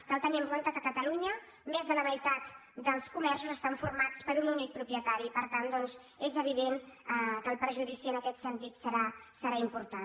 cal tenir en compte que a catalunya més de la meitat dels comerços estan formats per un únic propietari i per tant doncs és evident que el perjudici en aquest sentit serà important